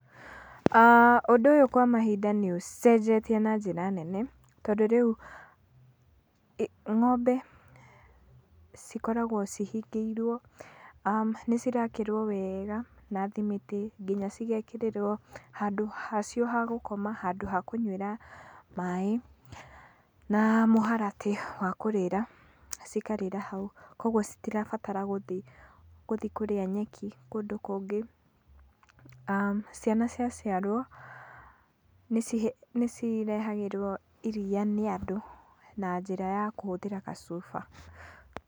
Ũndũ ũyũ kwa mahinda nĩ ũcenjetie na njĩra nene. Tondũ rĩu ng'ombe cikoragwo cihingĩirwo. aah Nĩcirakerwo wega na thimiti, nginya cigekĩrĩrwo handũ hacio ha gũkoma, handũ ha kũnywĩra maaĩ na mũharatĩ wa kũrĩra. Cikarĩra hau, koguo citirabatara gũthiĩ kũrĩa nyeki kũndũ kũngĩ. Ciana ciaciarwo nĩ cirehagĩrwo iria nĩ andũ na njĩra ya kũhũthĩra gacuba.